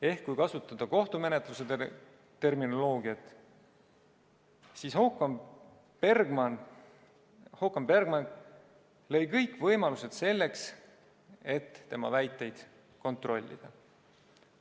Ehk kui kasutada kohtumenetluse terminoloogiat, siis Håkan Bergmark lõi kõik võimalused selleks, et tema väiteid kontrollida.